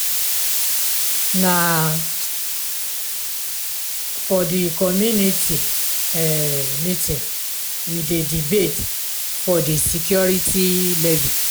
na um for di community um meeting we dey debate di security levy.